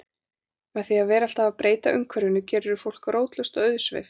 Með því að vera alltaf að breyta umhverfinu gerirðu fólk rótlaust og auðsveipt.